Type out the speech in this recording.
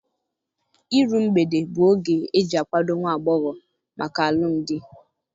Iru mgbede bụ oge eji akwado nwa agbọghọ maka alụmdi.